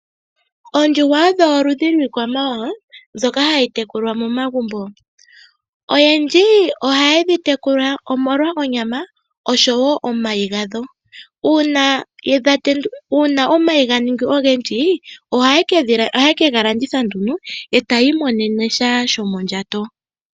Oondjuhwa odho oludhi lwiikwamawawa mbyoka hayi tekulwa momagumbo. Oyendji ohaye dhi tekula omolwa onyama, oshowo omayi gadho. Uuna omayi ga ningi ogendji, ohaye ke ga landitha nduno, e taya imonene sha sho mondjato.